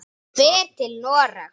Hann fer til Noregs.